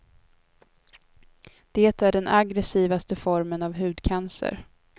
Det är den aggressivaste formen av hudcancer.